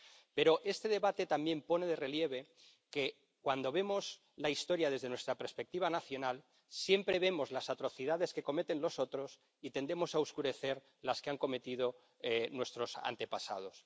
Pero este debate también pone de relieve que, cuando vemos la historia desde nuestra perspectiva nacional, siempre vemos las atrocidades que cometen los otros y tendemos a oscurecer las que han cometido nuestros antepasados.